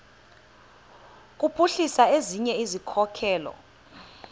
kuphuhlisa ezinye izikhokelo